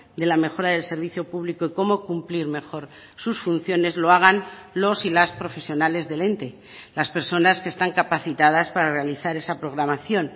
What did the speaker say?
de la mejora del servicio público y cómo cumplir mejor sus funciones lo hagan los y las profesionales del ente las personas que están capacitadas para realizar esa programación